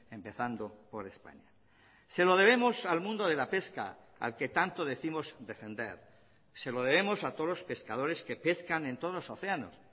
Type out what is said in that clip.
empezando por españa se lo debemos al mundo de la pesca al que tanto décimos defender se lo debemos a todos los pescadores que pescan en todos los océanos